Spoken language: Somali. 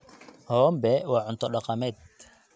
Hombe waa cunto dhaqameed.